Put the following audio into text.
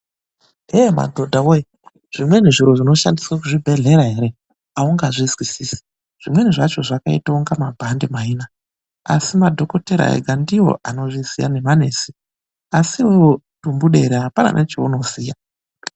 Yee madhodha wee! Zvimweni zviro zvinoshandiswa muzvibhehlera ere haungazvizwisisi zvimweni zvacho zvakaite kunga mabhadhe kudai ,ana dhokoteya nana mbuya nesi ndivo vanozviziya mushando wazvo asi iwewe tumbudere hapana nechaunoziya.